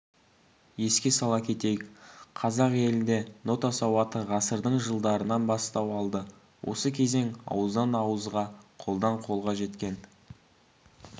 еске сала кетейік қазақ елінде нота сауаты ғасырдың жылдарынан бастау алды осы кезең ауыздан-ауызға қолдан-қолға жеткен